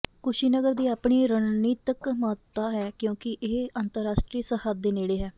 ਕੁਸ਼ੀਨਗਰ ਦੀ ਆਪਣੀ ਰਣਨੀਤਕ ਮਹੱਤਤਾ ਹੈ ਕਿਉਂਕਿ ਇਹ ਅੰਤਰਰਾਸ਼ਟਰੀ ਸਰਹੱਦ ਦੇ ਨੇੜੇ ਹੈ